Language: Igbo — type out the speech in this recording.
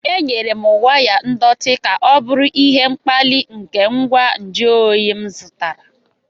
Enyere m waya ndọtị ka ọ bụrụ ihe mkpali nke ngwa nju oyi m zụtara.